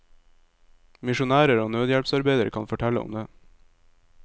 Misjonærer og nødhjelpsarbeidere kan fortelle om det.